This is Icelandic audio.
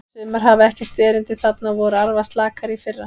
Sumar hafa ekkert erindi þarna og voru arfaslakar í fyrra.